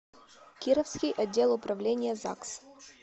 кировский отдел управления загс